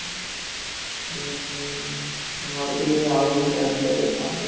ଉଁ ଭାବୁଥିଲି ଆଉ କିଛି ଗାଡିରେ ଯାଆନ୍ତେ?